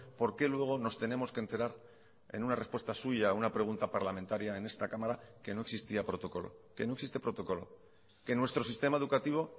por qué luego nos tenemos que enterar en una respuesta suya a una pregunta parlamentaria en esta cámara que no existía protocolo que no existe protocolo que nuestro sistema educativo